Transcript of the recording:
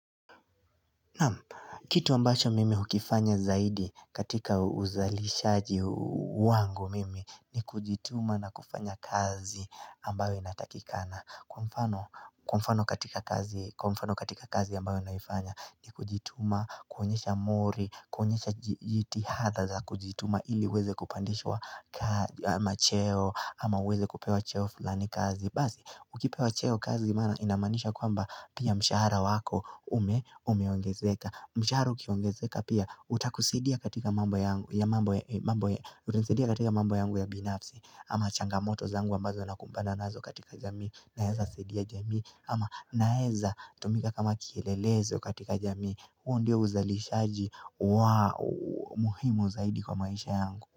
Kitu ambasho mimi hukifanya zaidi katika uzalishaji wangu mimi ni kujituma na kufanya kazi ambayo inatakikana Kwa mfano katika kazi ambayo inafanya ni kujituma, kuonyesha mori, kuonyesha jitihadha za kujituma ili weze kupandishwa ama cheo ama uweze kupewa cheo fulani kazi Basi, ukipewa cheo kazi maana inamanisha kwamba pia mshahara wako ume ongezeka mshahara ukiongezeka pia, utakusadia katika mambo yangu ya binafsi ama changamoto zangu ambazo nakumbana nazo katika jamii Naezasadia jamii, ama naeza tumika kama kielelezo katika jamii huo ndio uzalishaji wa muhimu zaidi kwa maisha yangu.